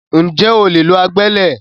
Ǹjẹ́ o lè lo agbẹ́lẹ̀?